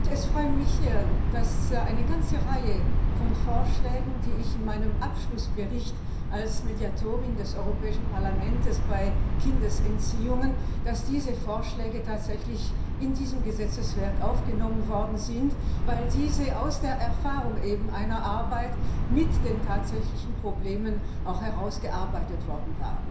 Es freut mich, dass eine ganze Reihe von Vorschlägen, die ich in meinem Abschlussbericht als Mediatorin des Europäischen Parlaments bei Kindesentziehungen gemacht habe, tatsächlich in dieses Gesetzeswerk aufgenommen worden sind, weil diese aus der Erfahrung bei der Beschäftigung mit den tatsächlichen Problemen auch herausgearbeitet wurden.